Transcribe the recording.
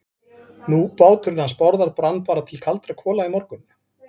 Nú, báturinn hans Bárðar brann bara til kaldra kola í morgun.